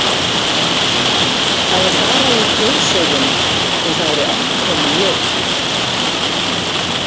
Það er bara í þjóðsögum og það eru ekki komin jól.